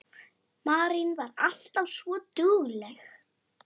Marín var alltaf svo dugleg.